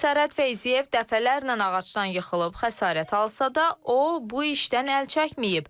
Sərhəd Feyziyev dəfələrlə ağacdan yıxılıb xəsarət alsa da, o bu işdən əl çəkməyib.